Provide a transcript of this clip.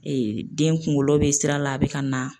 den kunkolo bɛ sira la a bɛ ka na